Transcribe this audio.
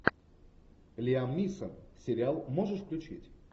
лиам нисон сериал можешь включить